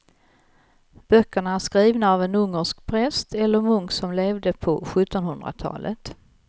Böckerna är skrivna av en ungersk präst eller munk som levde på sjuttonhundratalet.